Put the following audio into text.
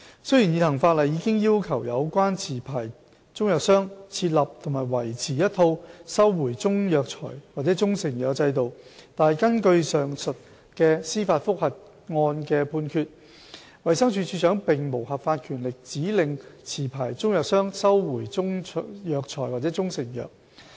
雖然現行法例已要求有關持牌中藥商設立和維持一套收回中藥材或中成藥的制度，但根據上述司法覆核案的判決，衞生署署長並無合法權力指令持牌中藥商收回中藥材或中成藥。